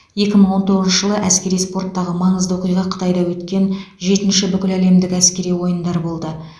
екі мың он тоғызыншы жылы әскери спорттағы маңызды оқиға қытайда өткен жетінші бүкіләлемдік әскери ойындар болды